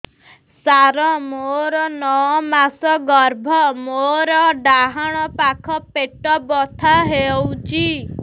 ସାର ମୋର ନଅ ମାସ ଗର୍ଭ ମୋର ଡାହାଣ ପାଖ ପେଟ ବଥା ହେଉଛି